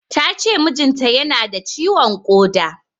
Tace mijin ta yana da ciwon ƙoda